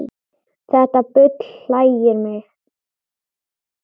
Þetta bull hlægir mig